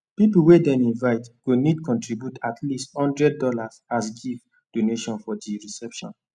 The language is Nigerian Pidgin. people wey dem invite go need to contribute at least hundred dollars as gift donation for di reception